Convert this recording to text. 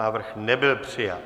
Návrh nebyl přijat.